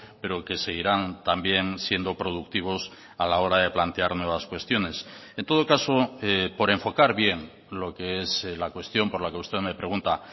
pero que seguirán también siendo productivos a la hora de plantear nuevas cuestiones en todo caso por enfocar bien lo que es la cuestión por la que usted me pregunta